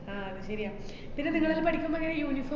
ആഹ് അത് ശരിയാ. പിന്നെ നിങ്ങളെല്ലോ പഠിക്കുമ്പോ ങ്ങനെ uniform~